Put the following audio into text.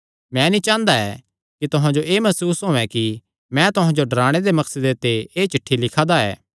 मैं नीं चांह़दा ऐ कि तुहां जो एह़ मसूस होयैं कि मैं तुहां जो डराणे दे मकसदे ते एह़ चिठ्ठी लिखा दा ऐ